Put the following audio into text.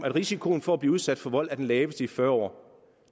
at risikoen for at blive udsat for vold var den laveste i fyrre år